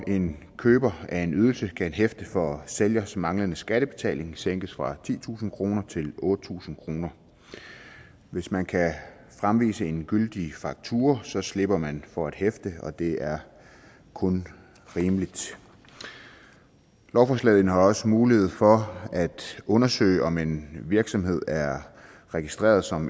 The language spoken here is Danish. en køber af en ydelse kan hæfte for sælgers manglende skattebetaling sænkes fra titusind kroner til otte tusind kroner hvis man kan fremvise en gyldig faktura slipper man for at hæfte og det er kun rimeligt lovforslaget indeholder også mulighed for at undersøge om en virksomhed er registreret som